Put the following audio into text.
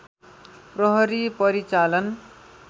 प्रहरी परिचालन